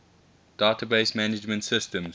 database management systems